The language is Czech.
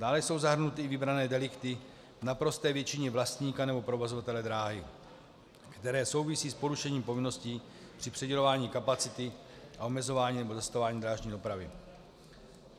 Dále jsou zahrnuty i vybrané delikty, v naprosté většině vlastníka nebo provozovatele dráhy, které souvisí s porušením povinností při přidělování kapacity a omezování nebo zastavování drážní dopravy.